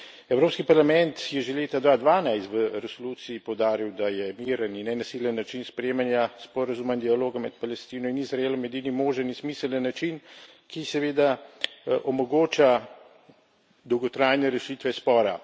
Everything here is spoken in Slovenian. Evropski parlament je že leta 2012 v resoluciji poudaril, da je miren in nenasilen način sprejemanja sporazuma in dialoga med Palestino in Izraelom edini možen in smiseln način, ki seveda omogoča dolgotrajne rešitve spora.